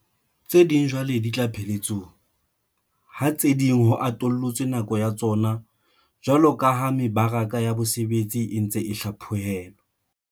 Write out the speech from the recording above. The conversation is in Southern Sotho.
Tse ding jwale di tla pheletsong, ha tse ding ho atollotswe nako ya tsona jwaloka ha mebaraka ya bosebetsi e ntse e hlapho helwa.